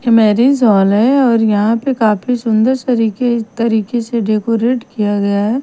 ये marriage hall है और यहाँ पे काफी सुंदर सरीके तरीके से डेकोरेट किया गया है ।